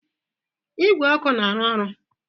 Igwe ọkụ na-arụ ọrụ?